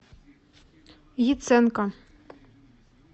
яценко